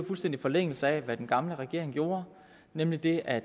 fuldstændig i forlængelse af hvad den gamle regering gjorde nemlig at